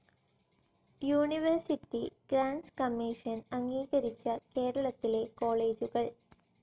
university grants commission അംഗീകരിച്ച കേരളത്തിലെ കോളേജുകൾ